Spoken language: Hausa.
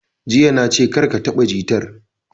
Jiya na ce 'Kar ka taɓa jitar'!